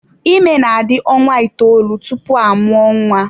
Ime na-adị ọnwa itoolu tupu a mụọ nwa.